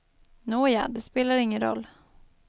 Nåja, det spelar ingen roll.